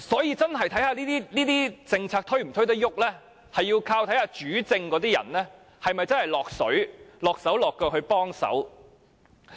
因此，這些政策能否推展視乎主政的人是否真的"落水"、"落手落腳"幫忙。